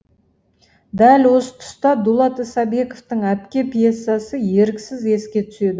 дәл осы тұста дулат исабековтың әпке пьесасы еріксіз еске түседі